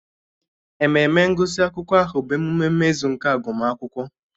Ememe ngụsị akwụkwọ ahụ bụ emume mmezu nke agụmakwụkwọ.